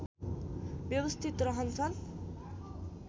व्यवस्थित रहन्छन्